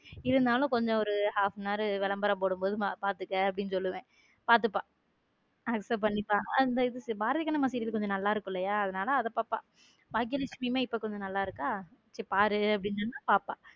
இருந்தாலும் கொஞ்சம் ஒரு half and hour விளம்பரம் போடும்போது பாத்துக்க அப்படின்னு சொல்லுவேன் பாத்துப பாத்துப accept பண்ணிப்பா பாரதி கண்ணம்மா serial கொஞ்சம் நல்லா இருக்கும் இல்லையா அதனால அதை பாப்பா பாக்கியலட்சுமி இப்போ கொஞ்சம் நல்லா இருக்கா சரி பாருன்னு சொன்னா பாப்பா.